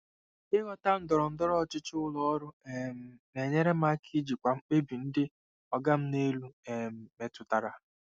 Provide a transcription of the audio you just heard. Ịghọta ndọrọndọrọ ọchịchị ụlọ ọrụ um na-enyere m aka ijikwa mkpebi ndị “oga m n'elu” um metụtara.